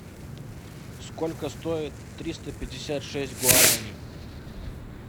сколько стоит триста пятьдесят шесть гуарани